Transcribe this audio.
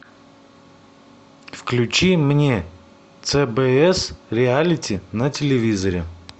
включи мне цбс реалити на телевизоре